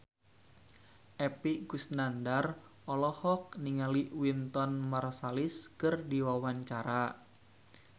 Epy Kusnandar olohok ningali Wynton Marsalis keur diwawancara